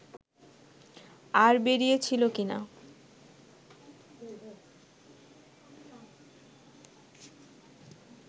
আর বেরিয়েছিল কিনা